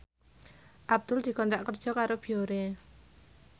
Abdul dikontrak kerja karo Biore